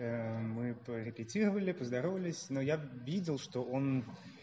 мы то репетировали то здоровались но я видел что он